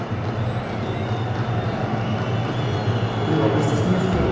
ও তা তুই office যাসনি আজকে?